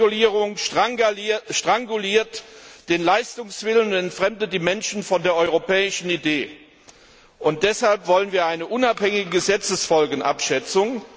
Überregulierung stranguliert den Leistungswillen und entfremdet den Menschen von der europäischen Idee, und deshalb wollen wir eine unabhängige Gesetzesfolgenabschätzung.